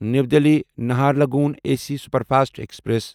new Delhi Naharlagun A C superfast express